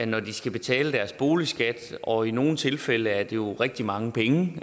når de skal betale deres boligskat og i nogle tilfælde er det jo rigtig mange penge